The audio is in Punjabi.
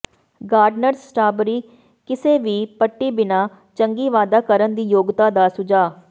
ਗਾਰਡਨਰਜ਼ ਸਟਰਾਬਰੀ ਕਿਸੇ ਵੀ ਪੱਟੀ ਬਿਨਾ ਚੰਗੀ ਵਾਧਾ ਕਰਨ ਦੀ ਯੋਗਤਾ ਦਾ ਸੁਝਾਅ